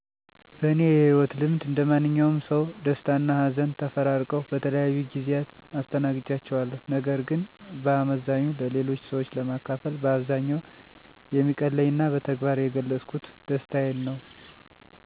በእኔ የህይወት ልምድ እንደማንኛውም ሰው ደስታና ሀዘን ተፈራርቀው በተለያዩ ጊዜያት አስተናግጃቸዋለሁ። ነገር ግን በአመዛኙ ለሌሎች ሰዎች ለማካፈል በአብዛኛው የሚቀለኝና በተግባር የገለፅኩት ደስታዬን ነው። አብዛኛውን ጊዜ የሀዘን ስሜት ሲፈጠርብኝ በውስጤ ለረዥም ጊዜ ወይም ለችግሩ በእኔም ሆነ በሌሎች ሰዎች አልያም በተፈጥሮ ምላሽ ወይም መፍትሔ እስኪያገኝ በሆዴ አምቄ የመያዝ ልምድ አለኝ። ምክንያቴ ደግሞ በእኔ እሳቤ ከሌሎች ሰወች ተገቢ መፍትሔ አላገኝም የሚል አመለካከት ስላለኝ ነው። በጣም ትልቅ የደስታ ስሜት የነበረኝ የኮሌጅ ትምህርቴን አጠናቅቄ የምረቃ ኘሮግራማችን ቀን ነዉ።